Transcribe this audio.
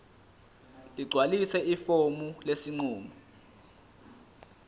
ligcwalise ifomu lesinqumo